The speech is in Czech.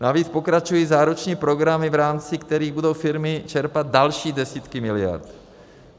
Navíc pokračují záruční programy, v rámci kterých budou firmy čerpat další desítky miliard.